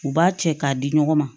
U b'a cɛ k'a di ɲɔgɔn ma